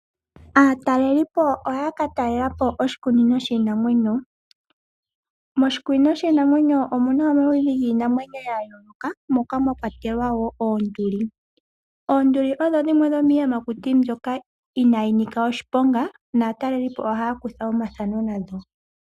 Aatalelipo ohaya katalelapo oshikunino shiinamwenyo . Moshikunino shiinamwenyo omuna omaludhi giinamwenyo yayooloka moka mwakwatelwa oonduli. Oonduli odho dhimwe dhomiiyamakuti mbyoka inayi nika oshiponga, naatalelipo ohaya kutha omafano nando.